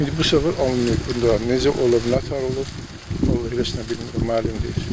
İndi bu səfər alınmayıb bunda, necə olub, nətər olub, vallah heç nə bilmirəm, məlum deyil.